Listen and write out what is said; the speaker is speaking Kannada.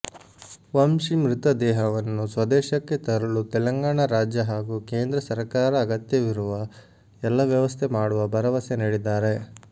ವಂಶಿ ಮೃತದೇಹವನ್ನು ಸ್ವದೇಶಕ್ಕೆ ತರಲು ತೆಲಂಗಾಣ ರಾಜ್ಯ ಹಾಗೂ ಕೇಂದ್ರ ಸರಕಾರ ಅಗತ್ಯವಿರುವ ಎಲ್ಲ ವ್ಯವಸ್ಥೆ ಮಾಡುವ ಭರವಸೆ ನೀಡಿದ್ದಾರೆ